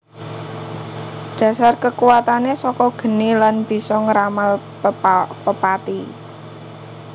Dhasar kekuwatane saka geni lan bisa ngramal pepati